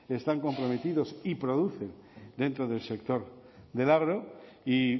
están comprometidos y producen dentro del sector del y